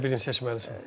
Yenə də birini seçməlisən.